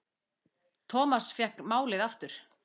Thomas fékk málið aftur.